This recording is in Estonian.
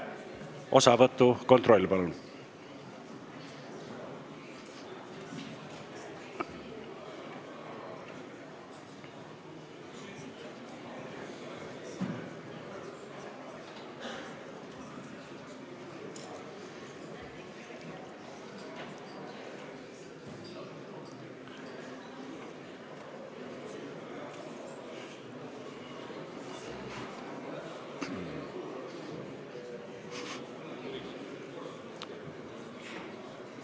Osavõtu kontroll, palun!